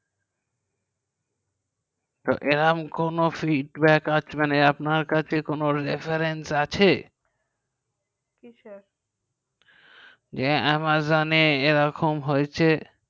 তো এরম কোনো fight back আছে মানে আপনার কাছে কোনো reference আছে কিসের যে amazon এরকম হয়েছে